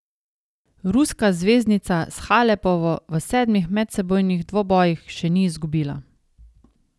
Ruska zvezdnica s Halepovo v sedmih medsebojnih dvobojih še ni izgubila.